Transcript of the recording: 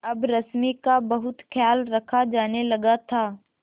अब रश्मि का बहुत ख्याल रखा जाने लगा था